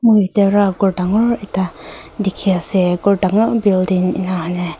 mur ekta dagur ekta dekhi ase dagur building ena hena.